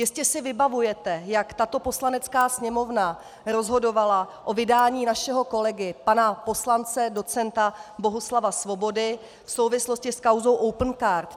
Jistě si vybavujete, jak tato Poslanecká sněmovna rozhodovala o vydání našeho kolegy pana poslance docenta Bohuslava Svobody v souvislosti s kauzou Opencard.